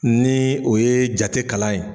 Ni o ye jate kalan ye